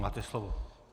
Máte slovo.